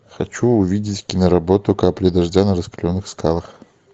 хочу увидеть киноработу капли дождя на раскаленных скалах